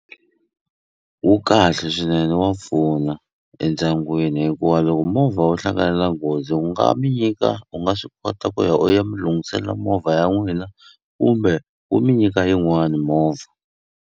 Wu kahle swinene wa pfuna endyangwini hikuva loko movha wo hlangana na nghozi wu nga mi nyika u nga swi kota ku ya u ya mi lunghisela movha ya n'wina kumbe wu mi nyika yin'wani movha.